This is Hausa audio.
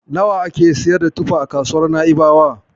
Nawa ake siyar da tufa a kasuwar Na'ibawa?